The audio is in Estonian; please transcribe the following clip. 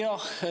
Jah.